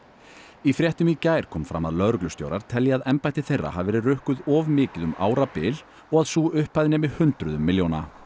í fréttum í gær kom fram að lögreglustjórar telji að embætti þeirra hafi verið rukkuð of mikið um árabil og að sú upphæð nemi hundruðum milljóna